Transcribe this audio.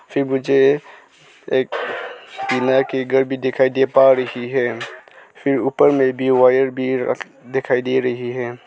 फिर मुझे एक पीनाई के घर भी दिखाई दे पा रही है फिर ऊपर में भी वायर भी रख दिखाई दे रही है।